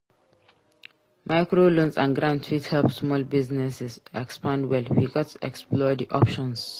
Microloans and grants fit help small businesses expand well. We gats explore di options.